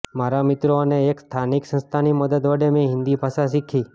મારા મિત્રો અને એક સ્થાનિક સંસ્થાની મદદ વડે મેં હિન્દી ભાષા શીખી